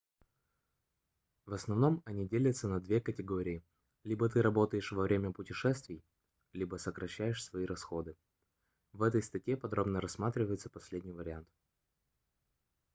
в основном они делятся на две категории либо ты работаешь во время путешествий либо сокращаешь свои расходы в этой статье подробно рассматривается последний вариант